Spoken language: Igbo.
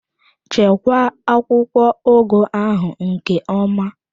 Chekwaa akwụkwọ ugu ahụ nke ọma!